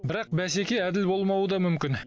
бірақ бәсеке әділ болмауы да мүмкін